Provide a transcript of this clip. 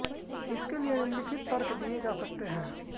इसके लिए निम्नलिखित तर्क दिये जा सकते हैं